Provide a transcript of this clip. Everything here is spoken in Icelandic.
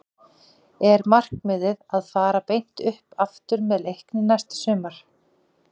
Er markmiðið að fara beint upp aftur með Leikni næsta sumar?